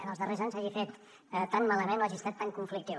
en els darrers anys s’hagi fet tan malament o hagi estat tan conflictiu